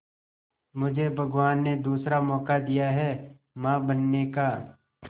मुझे भगवान ने दूसरा मौका दिया है मां बनने का